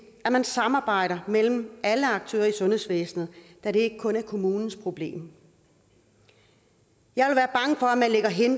at man samarbejder mellem alle aktører i sundhedsvæsenet da det ikke kun er kommunens problem jeg